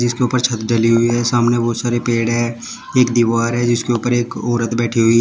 इसके ऊपर छत डाली हुई है सामने बहुत सारे पेड़ है एक दीवार है जिसके ऊपर एक औरत बैठी हुई है।